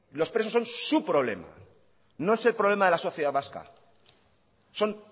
los presos son su problema no es el problema de la sociedad vasca son